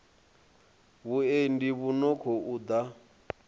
vhuendi vhu no khou ḓa